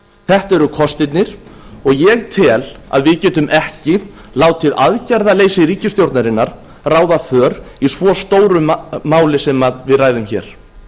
þetta eru kostirnir og ég tel að við getum ekki látið aðgerðaleysi ríkisstjórnarinnar ráða för í svo stóru máli sem við ræðum hér